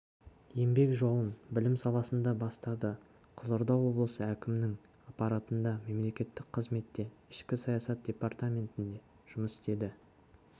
еңбек жолын білім саласында бастады қызылорда облысы әкімінің аппаратында мемлекеттік қызметте ішкі саясат департаментінде жұмыс істеді